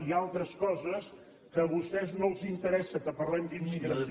i altres coses que a vostès no els interessa que parlem d’immigració